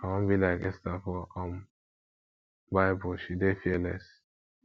i wan be like esther for um bible she dey fearless